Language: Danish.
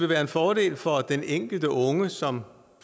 være en fordel for den enkelte unge som